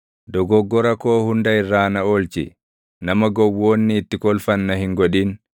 Dogoggora koo hunda irraa na oolchi; nama gowwoonni itti kolfan na hin godhin.